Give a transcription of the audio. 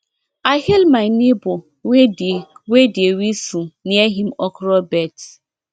i hail my neighbor wey dey wey dey whistle near him okra beds